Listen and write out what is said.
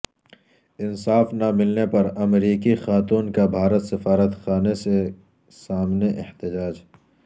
انصاف نہ ملنے پرامریکی خاتون کابھارت سفارتخانے سے سامنے احتجاج